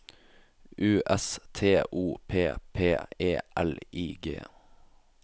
U S T O P P E L I G